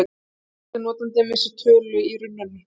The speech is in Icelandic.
Hvað gerist ef notandinn missir af tölu í rununni?